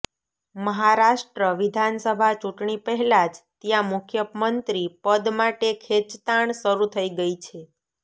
મહારાષ્ટ્ર વિધાનસભા ચૂંટણી પહેલા જ ત્યાં મુખ્યમંત્રી પદ માટે ખેંચતાણ શરૂ થઈ ગઈ છે